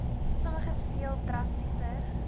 sommiges veel drastiser